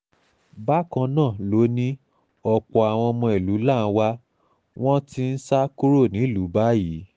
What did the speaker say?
bákan náà ló ní ọ̀pọ̀ àwọn ọmọ ìlú làǹwá ni wọ́n ti ń sá kúrò nílùú báyìí